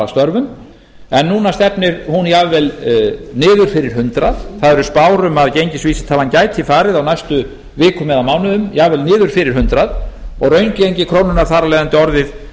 störfum en núna stefnir hún jafnvel niður fyrir hundrað það eru spár um að gengisvísitalan gæti farið á næstu vikum eða mánuðum jafnvel niður fyrir hundrað og raungengi krónunnar þar af leiðandi orðið